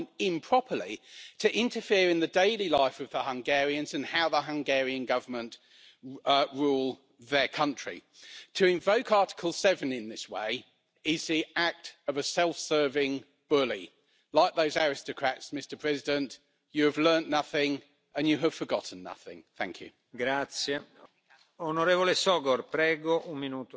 chcecie okładać tych, którzy się z Wami nie zgadzają. Wczoraj przewodniczący Timmermans powiedział w chwili szczerości, że dla niego Karta Praw Podstawowych jest ważniejsza niż demokracja, czyli demokracja była dobra, żeby przyjąć Kartę Praw Podstawowych, ale gdyby chciał ją uchylić, to dla niego demokracja już się nie liczy. Traktujecie zatem to wszystko instrumentalnie. A poza tym uważam, że przewodniczący Tajani powinien podać się do dymisji.